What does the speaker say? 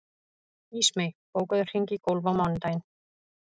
Ísmey, bókaðu hring í golf á mánudaginn.